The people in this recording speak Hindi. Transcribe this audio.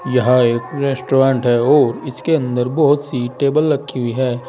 यह एक रेस्टोरेंट है और इसके अंदर बहोत सी टेबल रखी हुई है।